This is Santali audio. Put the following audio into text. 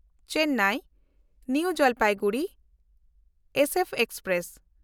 Chennai new Jalpaiguri SF express